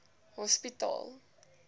hospitaal